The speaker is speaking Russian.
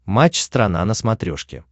матч страна на смотрешке